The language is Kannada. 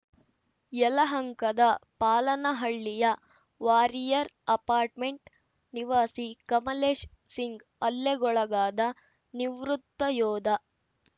ಯಲಹಂಕದ ಪಾಲನಹಳ್ಳಿಯ ವಾರಿಯರ್‌ ಅಪಾರ್ಟ್‌ಮೆಂಟ್‌ ನಿವಾಸಿ ಕಮಲೇಶ್‌ ಸಿಂಗ್‌ ಹಲ್ಲೆಗೊಳಗಾದ ನಿವೃತ್ತ ಯೋಧ